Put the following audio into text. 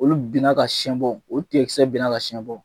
Olu bin na ka siɛn bon o tigɛkisɛ bina ka siɛn bɔ.